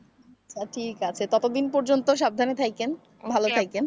ঠিক আছে ততদিন পর্যন্ত সাবধানে থাইকেন ভালো থাইকেন।